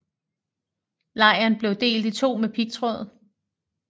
Lejren blev delt i to med pigtråd